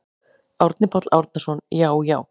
Árni Páll Árnason: Já já.